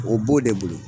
O b'o de bolo